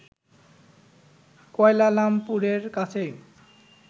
কুয়ালালামপুরের কাছেই